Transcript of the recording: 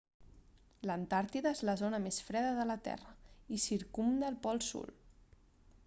l'antàrtida és la zona més freda de la terra i circumda el pol sud